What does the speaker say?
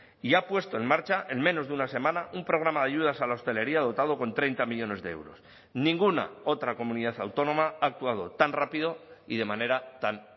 y ha puesto en marcha en menos de una semana un programa de ayudas a la hostelería dotado con treinta millónes de euros ninguna otra comunidad autónoma ha actuado tan rápido y de manera tan